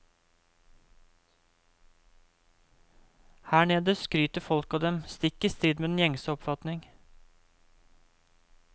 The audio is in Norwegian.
Her nede skryter folk av dem, stikk i strid med den gjengse oppfatning.